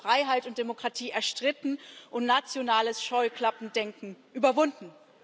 Wir haben Freiheit und Demokratie erstritten und nationales Scheuklappendenken überwunden.